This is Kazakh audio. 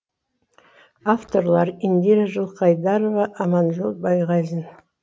авторлары индира жылқайдарова аманжол байғазин